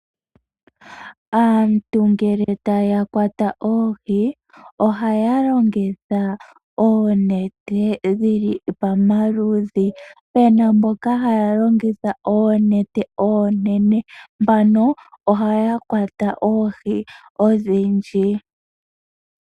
Aantu ngele taya kwata oohi ohaya longitha oonete dhili pamaludhi. Pena mboka haya longitha oonete oonene. Mbano ohaya kwata oohi odhindji.